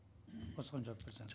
осыған жауап берсе